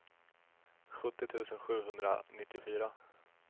sjuttio tusen sjuhundranittiofyra